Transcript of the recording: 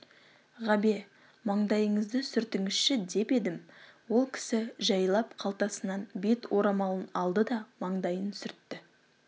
ғабе маңдайыңызды сүртіңізші деп едім ол кісі жәйлап қалтасынан бет орамалын алды да маңдайын сүртті